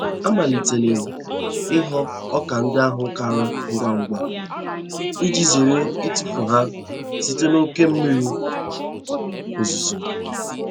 Amalitele m ighọ ọka ndị ahụ kara ngwa ngwa iji zere itufu ha site n'oke mmiri ozuzo.